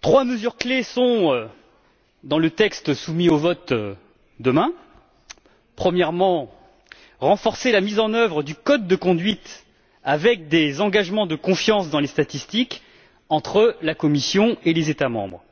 Trois mesures clés sont, dans le texte, soumises au vote demain premièrement, renforcer la mise en œuvre du code de conduite, avec des engagements de confiance dans les statistiques entre la Commission et les États membres